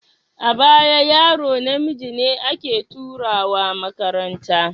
A baya yaro namiji ne ake turawa makaranta.